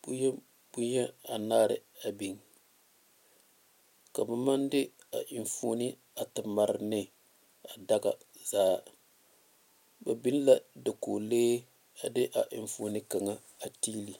bonyeni bonyeni anaare big ka ba maŋ de a nfone a eŋ mare a be daga zaa ba big la dakogi lee a de a nfone kaŋ eŋ a be.